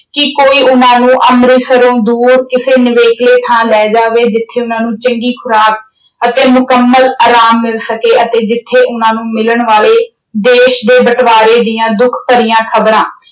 ਕਿ ਕੋਈ ਉਨ੍ਹਾਂ ਨੂੰ ਅੰਮ੍ਰਿਤਸਰੋਂ ਦੂਰ ਕਿਸੇ ਨਿਵੇਕਲੇ ਥਾਂ ਲੈ ਜਾਵੇ ਜਿੱਥੇ ਉਨ੍ਹਾਂ ਨੂੰ ਚੰਗੀ ਖੁਰਾਕ ਅਤੇ ਮੁਕੰਮਲ ਆਰਾਮ ਮਿਲ ਸਕੇ ਅਤੇ ਜਿੱਥੇ ਉਨ੍ਹਾਂ ਨੂੰ ਮਿਲਣ ਵਾਲੇ ਦੇਸ਼ ਦੇ ਬਟਵਾਰੇ ਦੀਆਂ ਦੁੱਖ ਭਰੀਆਂ ਖਬਰਾਂ